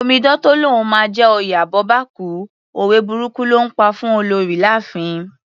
Omidan tó lóun máa jẹ oyè abọ́bakú, òwe burúkù ló ńpa fún Olorì láàfin.